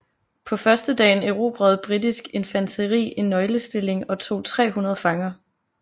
På førstedagen erobrede britisk infanteri en nøglestilling og tog 300 fanger